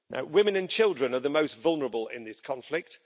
Women and children are the most vulnerable in this conflict.